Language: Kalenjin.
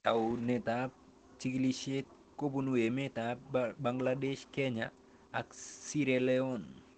Taunet ab chig'ilishet kopun emet ab Bangladesh, Kenya ak Sierra leon